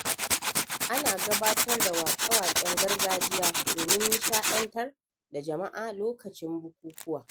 Ana gabatar da wake-waken gargajiya domin nishaɗantar da jama’a a lokacin bukukuwa.